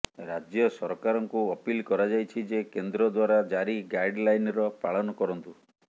ରାଜ୍ୟ ସରକାରଙ୍କୁ ଅପିଲ୍ କରାଯାଇଛି ଯେ କେନ୍ଦ୍ର ଦ୍ବାରା ଜାରି ଗାଇଡ୍ ଲାଇନ୍ର ପାଳନ କରନ୍ତୁ